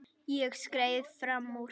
Ég skreið fram úr.